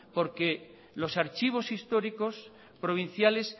porque los archivos históricos provinciales